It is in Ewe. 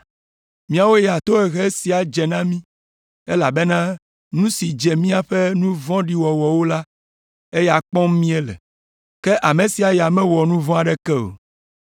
Míawo ya tohehe sia dze mí, elabena nu si dze míaƒe nu vɔ̃ɖi wɔwɔwo la, eya kpɔm míele. Ke ame sia ya mewɔ nu vɔ̃ aɖeke o.”